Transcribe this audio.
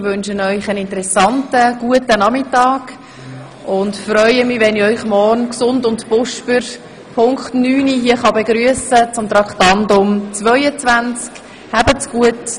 Ich wünsche Ihnen einen guten und interessanten Nachmittag und freue mich, wenn ich Sie morgen gesund und munter um Punkt 9.00 Uhr hier zu Traktandum 22 begrüssen kann.